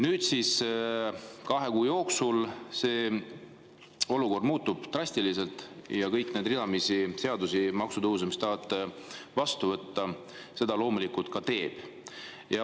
Nüüd, kahe kuu jooksul see olukord muutub drastiliselt ja kõik need seadused ja maksutõusud, mis te tahate vastu võtta, seda loomulikult ka teevad.